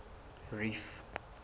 reef